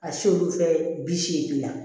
A si olu fɛ bi seegin na